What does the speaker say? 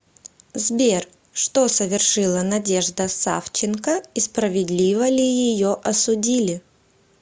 сбер что совершила надежда савченко и справедливо ли ее осудили